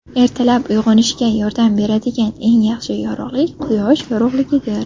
Ertalab uyg‘onishga yordam beradigan eng yaxshi yorug‘lik quyosh yorug‘ligidir.